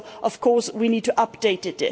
So, of course, we need to update it.